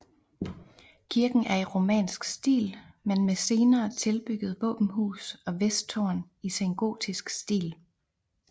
Kirken er i romansk stil men med senere tilbyggede våbenhus og vesttårn i sengotisk stil